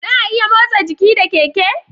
Za'a iya motsa jiki da keke